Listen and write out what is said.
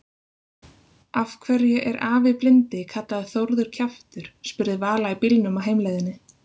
Af hverju er afi blindi kallaður Þórður kjaftur? spurði Vala í bílnum á heimleiðinni.